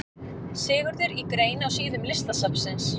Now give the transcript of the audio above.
Sigurður í grein á síðum Listasafnsins.